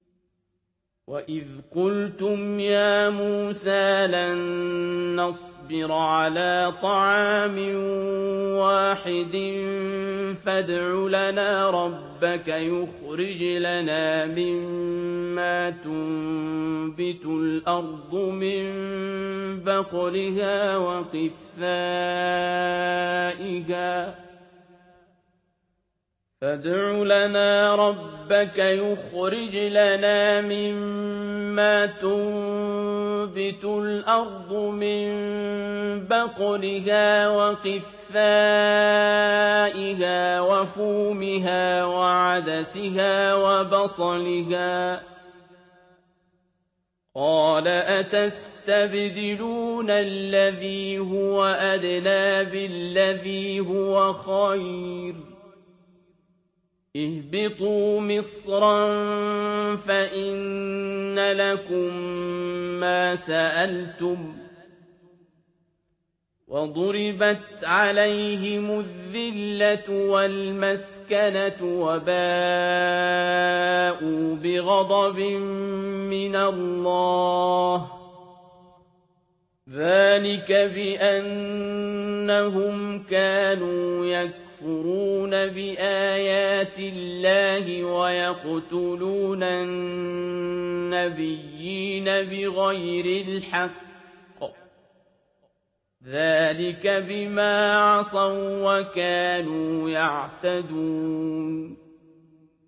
وَإِذْ قُلْتُمْ يَا مُوسَىٰ لَن نَّصْبِرَ عَلَىٰ طَعَامٍ وَاحِدٍ فَادْعُ لَنَا رَبَّكَ يُخْرِجْ لَنَا مِمَّا تُنبِتُ الْأَرْضُ مِن بَقْلِهَا وَقِثَّائِهَا وَفُومِهَا وَعَدَسِهَا وَبَصَلِهَا ۖ قَالَ أَتَسْتَبْدِلُونَ الَّذِي هُوَ أَدْنَىٰ بِالَّذِي هُوَ خَيْرٌ ۚ اهْبِطُوا مِصْرًا فَإِنَّ لَكُم مَّا سَأَلْتُمْ ۗ وَضُرِبَتْ عَلَيْهِمُ الذِّلَّةُ وَالْمَسْكَنَةُ وَبَاءُوا بِغَضَبٍ مِّنَ اللَّهِ ۗ ذَٰلِكَ بِأَنَّهُمْ كَانُوا يَكْفُرُونَ بِآيَاتِ اللَّهِ وَيَقْتُلُونَ النَّبِيِّينَ بِغَيْرِ الْحَقِّ ۗ ذَٰلِكَ بِمَا عَصَوا وَّكَانُوا يَعْتَدُونَ